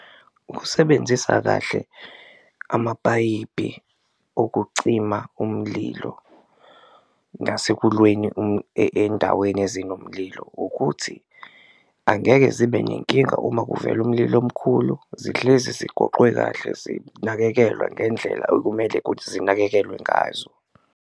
Ukusebenzisa kahle amapayipi okucima umlilo ngasekulweni endaweni ezinomlilo ukuthi angeke zibe nenkinga uma kuvela umlilo omkhulu, zihlezi ziqoqwe kahle zinakekelwa ngendlela okumele kuthi zinakekelwe ngazo.